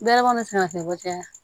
Bɛlɛ kɔnɔ ka bɔ kɛ